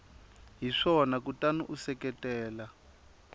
hi swona kutani u seketela